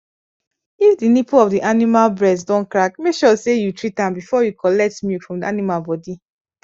if the nipple of the animal breast don crack make sure say you treat am before you collect milk from the animal body